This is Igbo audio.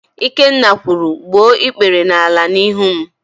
Ikenna kwuru, "gbuo ikpere n'ala n'ihu m"!